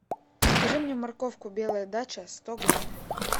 закажи мне морковку белая дача сто грамм